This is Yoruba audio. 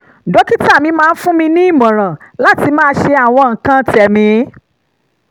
dókítà mi máa ń fún mi ní ìmọ̀ràn láti máa ṣe àwọn nǹkan tẹ̀mí